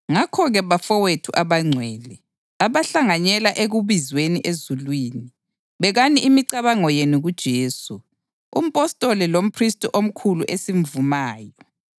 Ngakho-ke, bafowethu abangcwele, abahlanganyela ekubizweni ezulwini, bekani imicabango yenu kuJesu, umpostoli lomphristi omkhulu esimvumayo.